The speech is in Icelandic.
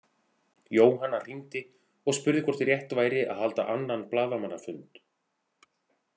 Jóhanna hringdi og spurði hvort rétt væri að halda annan blaðamannafund.